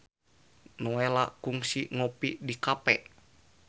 Nowela kungsi ngopi di cafe